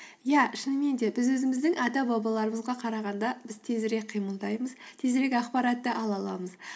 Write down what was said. иә шынымен де біз өзіміздің ата бабаларымызға қарағанда біз тезірек қимылдаймыз тезірек ақпаратты ала аламыз